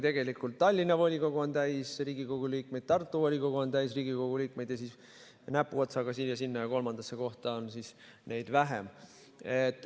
Tegelikult on Tallinna volikogu täis Riigikogu liikmeid, Tartu volikogu on täis Riigikogu liikmeid ja siis näpuotsaga siia-sinna ja kolmandasse kohta jagub neid vähem.